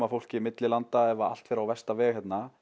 fólki milli landa ef allt fer á versta veg